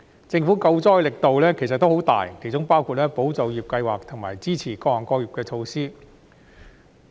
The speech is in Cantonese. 政府救災的力度其實已十分大，其中包括"保就業"計劃和支持各行各業的措施。